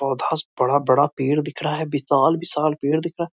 पौधा से बड़ा-बड़ा पेड़ दिख रहा है विशाल-विशाल पेड़ दिख रहा है।